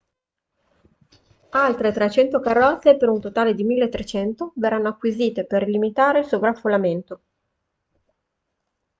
altre 300 carrozze per un totale 1.300 verranno acquisite per limitare il sovraffollamento